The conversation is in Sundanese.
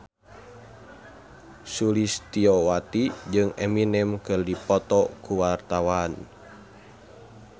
Sulistyowati jeung Eminem keur dipoto ku wartawan